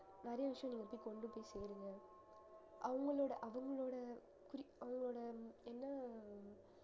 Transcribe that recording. நிறைய விஷயங்களை போய் கொண்டு போய் சேருங்க அவங்களோட அவங்களோட குறிக்~ அவங்களோட என்ன